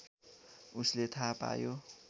उसले थाहा पायो